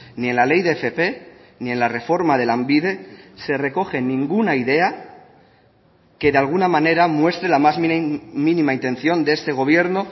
ni en la ley de fp ni en la reforma de lanbide se recoge ninguna idea que de alguna manera muestre la más mínima intención de este gobierno